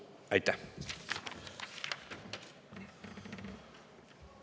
Aitäh!